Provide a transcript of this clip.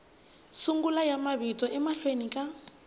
sungula ya mavito emahlweni ka